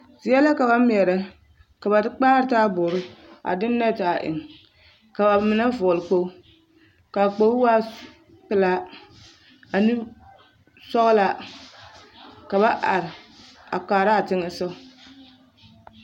Zie la ka ba meɛrɛ ka ba de kpaare taaboore a de nɛte a eŋ ka ba mine vɔgle kpoge k,a kpoge waa pelaa ane sɔglaa ka ba are a kaara a teŋɛ sogɔ.